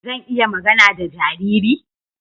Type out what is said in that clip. Zan iya magana da jariri?